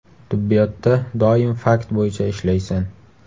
Tibbiyotda doim fakt bo‘yicha ishlaysan.